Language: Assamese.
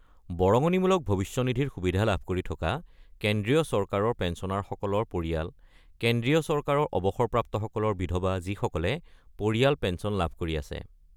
বৰঙনিমূলক ভৱিষ্যনিধিৰ সুবিধা লাভ কৰি থকা কেন্দ্ৰীয় চৰকাৰৰ পেঞ্চনাৰসকলৰ পৰিয়াল: কেন্দ্ৰীয় চৰকাৰৰ অৱসৰপ্ৰাপ্তসকলৰ বিধৱা যিসকলে পৰিয়াল পেঞ্চন লাভ কৰি আছে।